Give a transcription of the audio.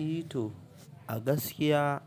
I to a gaskiya